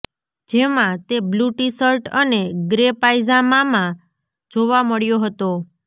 જેમાં તે blue T-shirt અને ગ્રે પાયજામામાં જોવા મળ્યો હતો